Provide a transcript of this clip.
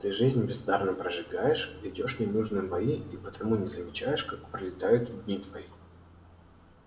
ты жизнь бездарно прожигаешь ведёшь ненужные бои и потому не замечаешь как пролетают дни твои